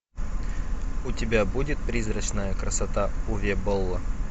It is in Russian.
у тебя будет призрачная красота уве болла